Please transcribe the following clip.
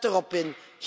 Zet erop in.